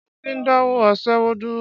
Ṣé ó ti dáwọ́ aṣẹ́wó dúró?